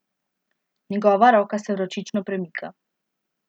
Njegova roka se vročično premika.